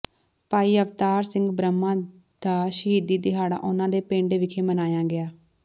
ਭਾਈ ਅਵਤਾਰ ਸਿੰਘ ਬ੍ਰਹਮਾ ਦਾ ਸ਼ਹੀਦੀ ਦਿਹਾੜਾ ਉਨ੍ਹਾਂ ਦੇ ਪਿੰਡ ਵਿਖੇ ਮਨਾਇਆ ਗਿਆ